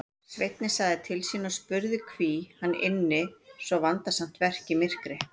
Sveinninn sagði til sín og spurði hví hann ynni svo vandasamt verk í myrkri.